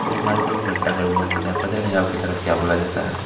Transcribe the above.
हमारे तरफ घंटा घर बोलै जाता है अब पता नहीं आपली तरफ क्या बोलै जाता है ।